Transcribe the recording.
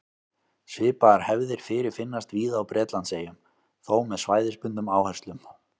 Svipaðar hefðir fyrirfinnast víða á Bretlandseyjum, þó með svæðisbundnum áherslum.